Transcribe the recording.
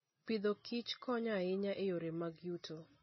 Agriculture and Foodkonyo ahinya e yore mag yuto.